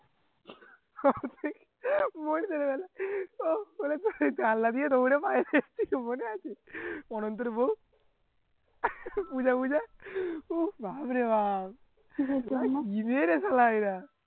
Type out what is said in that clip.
জানলা দিয়ে দৌড়ে পালিয়ে গেছে মনে আছে অনন্তের বউ উহ বাপরে বাপ